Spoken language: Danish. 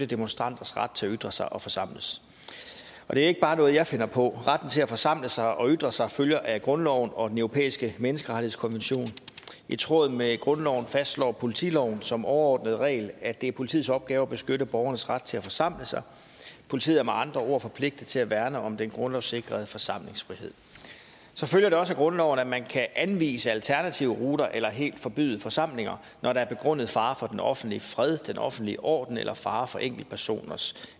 demonstranters ret til at ytre sig og forsamles det er ikke bare noget jeg finder på retten til at forsamle sig og ytre sig følger af grundloven og den europæiske menneskerettighedskonvention i tråd med grundloven fastslår politiloven som overordnet regel at det er politiets opgave at beskytte borgernes ret til at forsamle sig politiet er med andre ord forpligtet til at værne om den grundlovssikrede forsamlingsfrihed så følger det også af grundloven at man kan anvise alternative ruter eller helt forbyde forsamlinger når der er begrundet fare for den offentlige fred den offentlige orden eller fare for enkeltpersoners